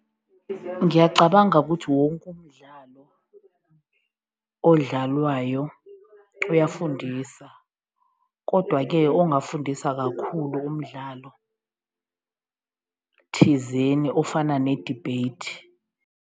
Ngiyacabanga ukuthi wonke umdlalo odlalwayo uyafundisa, kodwa-ke okungafundisa kakhulu umdlalo thizeni ofana ne-debate.